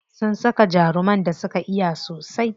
Sun saka jaruman da suka iya sosai.